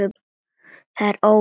Það er óvíst.